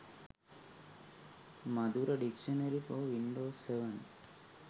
madura dictionary for windows 7